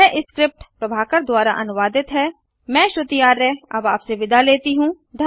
यह स्क्रिप्ट प्रभाकर द्वारा अनुवादित है मैं यश वोरा अब आपसे विदा लेता हूँ